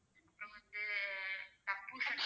அப்பறம் வந்து தர்பூசனி